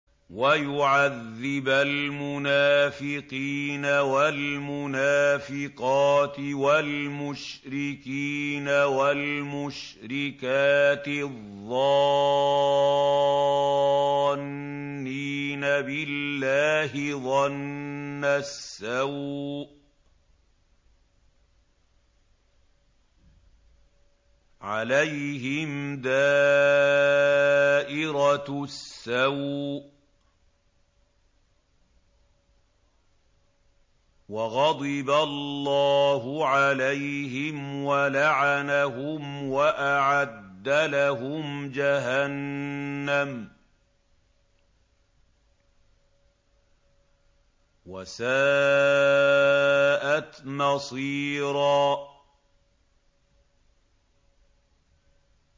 وَيُعَذِّبَ الْمُنَافِقِينَ وَالْمُنَافِقَاتِ وَالْمُشْرِكِينَ وَالْمُشْرِكَاتِ الظَّانِّينَ بِاللَّهِ ظَنَّ السَّوْءِ ۚ عَلَيْهِمْ دَائِرَةُ السَّوْءِ ۖ وَغَضِبَ اللَّهُ عَلَيْهِمْ وَلَعَنَهُمْ وَأَعَدَّ لَهُمْ جَهَنَّمَ ۖ وَسَاءَتْ مَصِيرًا